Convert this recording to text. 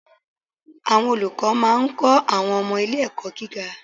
Àwọn olùkọ́ máa ń kọ́ àwọn ọmọ ilé ẹ̀kọ́ gíga